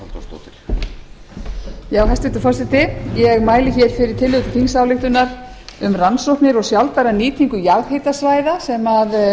klára koma hér hæstvirtur forseti ég mæli hér fyrir tillögu til þingsályktunar um rannsóknir og sjálfbæra nýtingu jarðhitasvæða sem